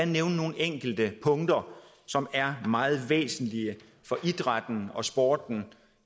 nævne nogle enkelte punkter som er meget væsentlige for idrætten og sporten